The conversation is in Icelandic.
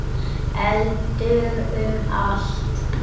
Eldur um allt.